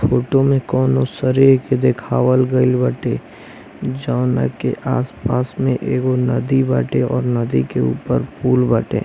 photo में कोनो जावना आस पास कोनो नदी बाटे--